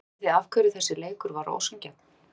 Vitiði af hverju þessi leikur var ósanngjarn?